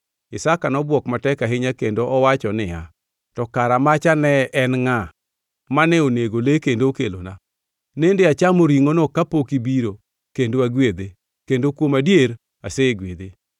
Isaka nobwok matek ahinya kendo owacho niya, “To kara macha ne en ngʼa, mane onego le kendo okelona? Nende achamo ringʼono kapok ibiro kendo agwedhe; kendo kuom adier asegwedhe.”